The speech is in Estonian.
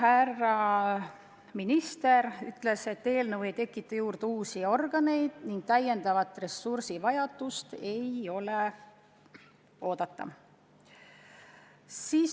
Härra minister ütles, et eelnõu eesmärk pole tekitada juurde uusi organeid ning täiendavat ressursivajadust ei ole oodata.